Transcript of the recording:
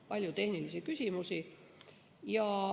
Palju tehnilisi küsimusi.